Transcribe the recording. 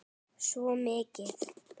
Svo mikið.